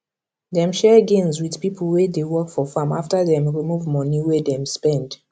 dem share gains with pipo wey dey work for farm after dem remove money wey dem spend